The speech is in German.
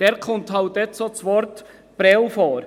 Dort kommt halt das Wort «Prêles» vor.